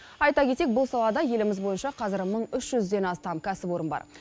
айта кетейік бұл салада еліміз бойынша қазір мың үш жүзден астам кәсіпорын бар